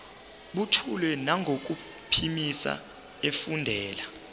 buthule nangokuphimisa efundela